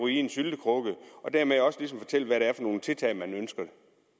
i en syltekrukke og dermed også ligesom fortælle hvad det er for nogle tiltag man ønsker